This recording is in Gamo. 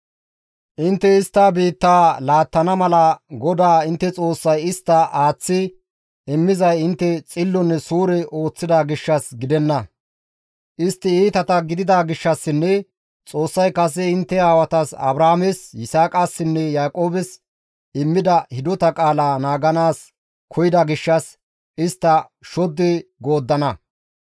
Intte istta biittaa laattana mala GODAA intte Xoossay isttas aaththi immizay intte xillonne suure ooththida gishshas gidenna; istti iitata gidida gishshassinne Xoossay kase intte aawatas Abrahaames, Yisaaqassinne Yaaqoobes immida hidota qaalaa naaganaas koyida gishshas istta shoddi gooddana.